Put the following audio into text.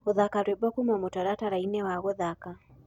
gũthaka rwĩmbo kũma mũtarataraĩnĩ wa guthaka